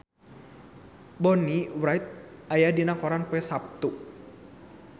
Bonnie Wright aya dina koran poe Saptu